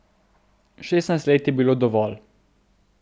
Šestnajst let je bilo dovolj.